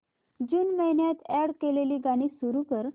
जून महिन्यात अॅड केलेली गाणी सुरू कर